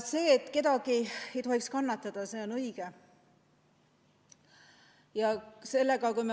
See, et keegi ei tohiks kannatada, on õige.